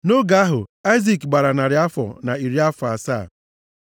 Nʼoge ahụ Aịzik gbara narị afọ na iri afọ asatọ.